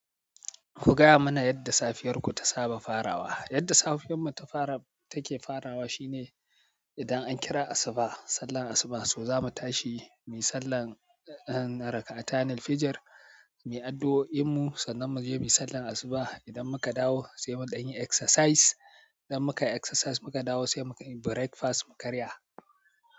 Ku gaya mana yadda safiyarku ta saba farawa. Yadda safiyar mu take farawa shine idan an kira asuba, sallar asuba so zamu tashi muyi sallar ehn na rak'atani, fijir, muyi addu'o'in mu sannan mu je muyi sallar asuba. Idan muka dawo sai mu ɗanyi exercise, idan muka yi exercise muka dawo sai mu yi breakfast mu karya.